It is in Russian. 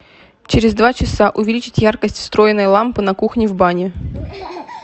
через два часа увеличить яркость встроенной лампы на кухне в бане